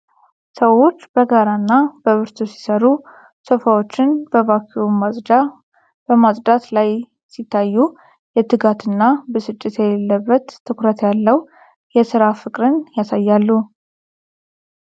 ሰዎች በጋራ እና በብርቱ ሲሰሩ፣ ሶፋዎችን በቫክዩም ማጽጃ በማፅዳት ላይ ሲታዩ የትጋት እና ብስጭት የሌለበት ትኩረት ያለው የሥራ ፍቅርን ያሳያሉ።